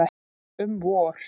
Um vor.